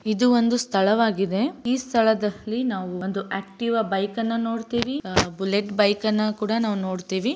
ಇದು ಒಂದು ಸ್ಥಳವಾಗಿದೆ ಈ ಸ್ಥಳದಲ್ಲಿ ನಾವು ಒಂದು ಆಕ್‌ಟೀವ್‌ ಬೈಕ್‌ನ್ನ ನೋಡ್ತೀವಿ ಅ ಬುಲೆಟ್‌ ಬೈಕ್‌ನ್ನ ಕೂಡ ನೋಡ್ತೀವಿ.